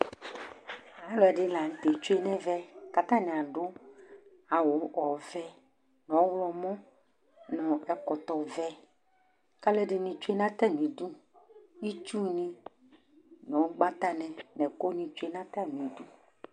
Alʊɛdinɩ lanutɛ tsue nɛvɛ Atanɩ adʊ awʊ ɔvɛ, nɔwlɔmɔ, nɛkɔtɔ vɛ Kalʊɛdinɩ tsue natamɩdʊ Ɩtsʊnɩ nʊgbatanɩ nɛkʊnɩ tsue natamɩdʊ